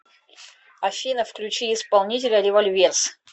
афина включи исполнителя револьверс